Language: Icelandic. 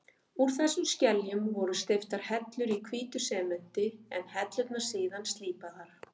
Úr þessum skeljum voru steyptar hellur í hvítu sementi, en hellurnar síðan slípaðar.